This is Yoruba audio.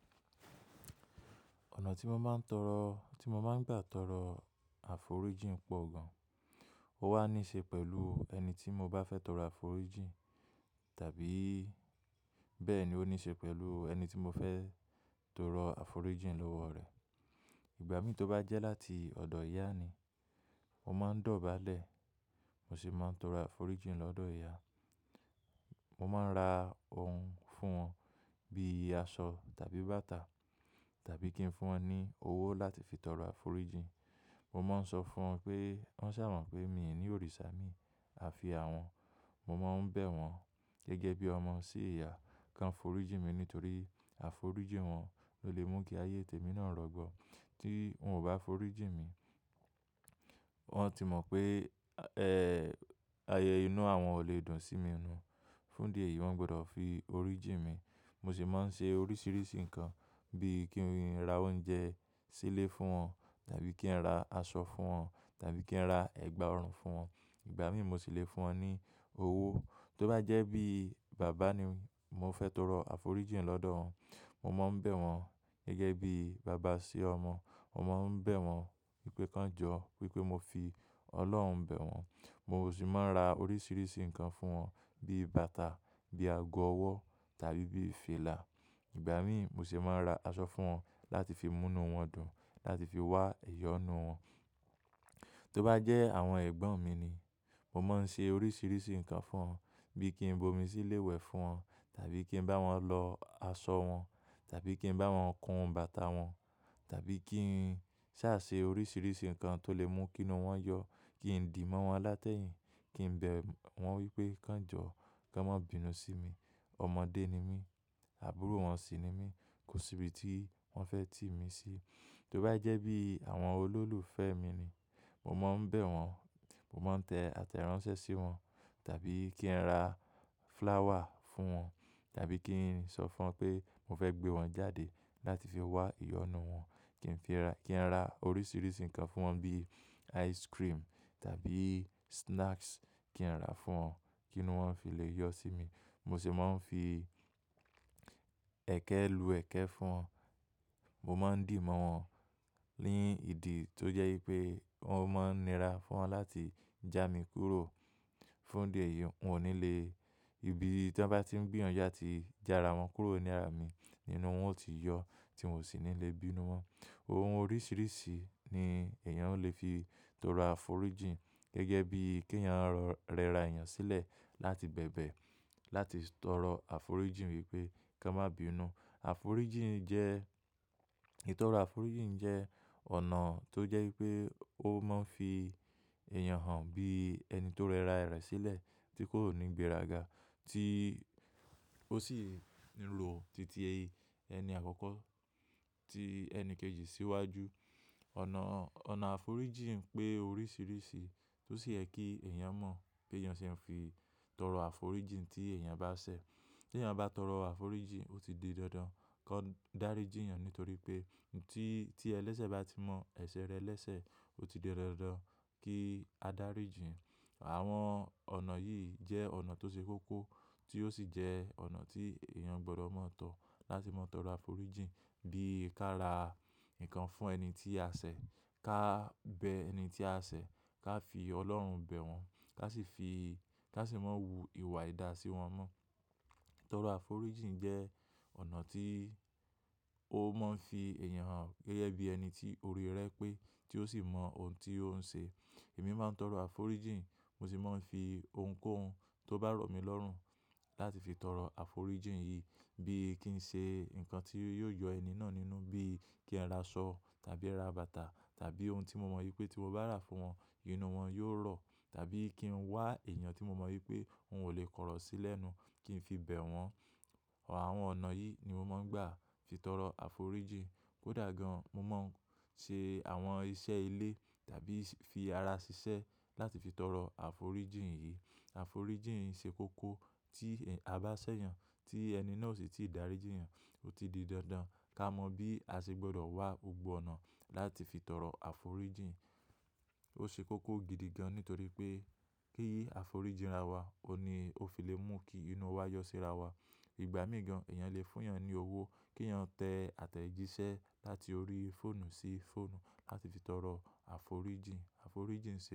Ọ̀nà tí mo máa ń tọrọ, tí mo máa ń gbà tọrọ àforíjìn pọ̀ gan. Ó wá ní ṣe pẹ̀lú ẹni tí mo bá fẹ́ tọrọ àforíjìn tàbí bẹ́ẹ̀ ni ó ní ṣe pẹ̀lú ẹni tí mo fẹ́ tọrọ àforíjìn lọ́wọ́ rẹ̀. Ìgbà mí tí ó bá jẹ́ láti ọ̀dọ̀ ìyá ni, mo máa ń dọ̀bálẹ̀, mo sì máa ń tọrọ àforíjìn lọ́dọ̀ ìyá. Mo máa ń ra ohun fún wọn bíi aṣọ tàbí bàtà tàbí kí n fún wọn ní owó láti fi tọrọ àforíjìn. Mo máa ń sọ fún wọn pé wọ́n ṣà mọ̀ pé mi ò ní òrìṣà mi a fi àwọn. Mo máa ń bẹ̀ wọ́n gẹ́gẹ́ bí ọmọ sí ìyá kí wọ́n foríjì mi nítorí àforíjì wọn ló lè mú kí ayé tèmi náà rọgbọ. Tí wọ́n ò bá foríjì mi, wọ́n ti mọ̀ pé, ẹ́, ayẹyẹ inú àwọn ò lè dùn sí mi inú. Fún díẹ̀ yìí wọ́n gbọdọ̀ fi oríjì mi. Mo sì máa ń ṣe oríṣiríṣi nǹkan bíi kí n ra oúnjẹ sílé fún wọn tàbí kí n ra aṣọ fún wọn tàbí kí n ra ẹ̀gbà ọrùn fún wọn. Ìgbà mí mo sì lè fún wọn ní owó. Tó bá jẹ́ bí bàbá ni mo fẹ́ tọrọ àforíjìn lọ́dọ̀ wọn, mo máa ń bẹ̀ wọ́n gẹ́gẹ́ bí bàbá sí ọmọ. Mo máa ń bẹ̀ wọ́n pé kí wọ́n jọ wí pé mo fi Ọlọ́run bẹ̀ wọ́n. Mo sì máa ń ra oríṣiríṣi nǹkan fún wọn bí bàtà, bí ago ọwọ́ tàbí bí fìlà. Ìgbà mí mo sì máa ń ra aṣọ fún wọn láti fi mú inú wọn dùn, láti fi wá ìyọ́nú wọn. Tó bá jẹ́ àwọn ẹ̀gbọ́n mi ni, mo máa ń ṣe oríṣiríṣi nǹkan fún wọn bí i kí n bomi sílé wẹ̀ fún wọn tàbí kí n bá wọn lọ aṣọ wọn tàbí kí n bá wọn kun bàtà wọn tàbí kí n ṣà ṣe oríṣiríṣi nǹkan tó lè mú kí inú wọn yọ, kí n dì mọ́ wọn látẹ̀yìn, kí n bẹ̀ wọ́n wí pé kí wọ́n jọ, kí wọ́n má bínú sí mi. Ọmọdé ni mí, àbúrò wọn sì ni mí, kò sí ibi tí wọ́n fẹ́ tì mí sí. Tí ó bá jẹ́ bí àwọn olólùfẹ́ mi ni, mo máa ń bẹ̀ wọ́n, mo máa ń tẹ àtẹ̀ránsẹ́ sí wọn tàbí kí n ra flower fún wọn tàbí kí n sọ fún wọn pé mo fẹ́ gbé wọn jáde láti fi wá ìyọ́nú wọn. Kí n fi ra, kí n ra oríṣiríṣi nǹkan fún wọn bí ice cream tàbí snacks kí n ra fún wọn kí inú wọn fi lè yọ sí mi. Mo sì máa ń fi ẹ̀kẹ́ lu ẹ̀kẹ́ fún wọn. Mo máa ń dì mọ́ wọn lé ìdí tó jẹ́ wípé wọ́n máa ń nira fún wọn láti jà mí kúrò. Fún díẹ̀ yìí wọn ò ní lè, ibi tí wọ́n bá ti ń gbiyanju atí jara wọn kúrò nírà mí, inú wọn ó ti yọ tí n ò sì ní lè bínú wọn. Ohun oríṣiríṣi ni èèyàn ó lè fi tọrọ àforíjìn gẹ́gẹ́ bí kí èèyàn rọ, rẹra èèyàn sílẹ̀ láti bẹ̀bẹ̀ láti tọrọ àforíjìn wípé kí wọ́n má bínú. Àforíjìn jẹ́, ìtọrọ àforíjìn jẹ́ ọ̀nà tó jẹ́ wípé ó máa ń fi èèyàn hàn bí ẹni tó rẹra rẹ̀ sílẹ̀ tí kò ní gbéraga tí ó sì ń ro titi, ẹni àkọ́kọ́ tí ẹni kejì síwájú. Ọ̀nà, ọ̀nà àforíjìn pé oríṣiríṣi tó sì yẹ kí èèyàn mọ̀ pé eyàn ṣe é fi tọrọ àforíjìn tí èèyàn bá ṣẹ̀. Tí èèyàn bá tọrọ àforíjìn ó ti di dandan kó dáríjì èèyàn nítorí pé tí, tí ẹlẹ́sẹ̀ bá ti mọ èsẹ̀ rẹ̀ lẹ́sẹ̀ ó ti di dandan kí a dáríjì. Àwọn ọ̀nà yìí jẹ́ ọ̀nà tó ṣe kókó tí ó sì jẹ́ ọ̀nà tí èèyàn gbọdọ̀ mọ̀ tán láti mọ tọrọ àforíjìn bí i ká ra nǹkan fún ẹni tí a ṣẹ̀, ká bẹ ẹni tí a ṣẹ̀, ká fi Ọlọ́run bẹ̀ wọ́n, ká sì fi, ká sì máa ń wù ìwà ìda sí wọn mọ́. Tọrọ àforíjìn jẹ́ ọ̀nà tí ó máa ń fi èèyàn hàn gẹ́gẹ́ bí ẹni tí orí rẹ̀ pé tí ó sì mọ ohun tí ó ń ṣe. Èmi máa ń tọrọ àforíjìn mo sì máa ń fi ohunkóhun tó bá rọ̀ mí lọ́rùn láti fi tọrọ àforíjìn yìí bí i kí n ṣe nǹkan tí yóò yọ ẹni náà nínú bí i kí n ra aṣọ tàbí ẹ́ ra bàtà tàbí ohun tí mo mọ wípé tí mo bá rà fún wọn inú wọn yóò rọ̀ tàbí kí n wá èèyàn tí mo mọ wípé òun ò lè kọ̀rọ̀ sílẹ̀ nú kí n fi bẹ̀ wọ́n. Àwọn ọ̀nà yìí ni mo máa ń gbà fi tọrọ àforíjìn. Kódà gan mo máa ń ṣe àwọn iṣẹ́ ilé tàbí fi ara ṣiṣẹ́ láti fi tọrọ àforíjìn yìí. Àforíjìn ṣe kókó tí a bá ṣẹ̀yàn tí ẹni náà sì ti ì dáríjì èèyàn ó ti di dandan ká mọ bí a ṣe gbọdọ̀ wá gbogbo ọ̀nà láti fi tọrọ àforíjìn. Ó ṣe kókó gidi gan nítorí pé kí àforíjìn rà wa ó ni ó fi lè mú kí inú wa yọ sí ara wa. Ìgbà mì gan èèyàn lè fún èèyàn ní owó kí èèyàn tẹ àtẹ̀jíṣẹ́ láti orí fóònù sí fóònù láti fi tọrọ àforíjìn. Àforíjìn ṣe.